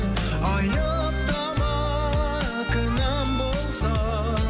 айыптама кінәм болса